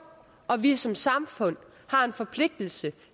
og vi som samfund har en forpligtelse